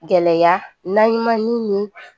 Gɛlɛya naɲumanniw ni